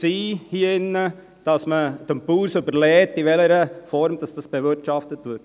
Die Meinung hier drinnen war, dass man es dem Bauern überlässt, in welcher Form bewirtschaftet wird.